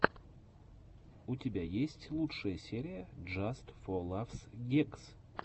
у тебя есть лучшая серия джаст фо лафс гэгс